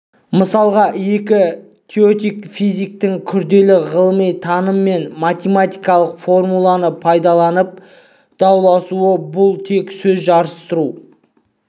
мысалға екі теоретик-физиктің күрделі ғылыми таным мен математикалық формуланы пайдаланып дауласуы бұл тек сөз жарыстыру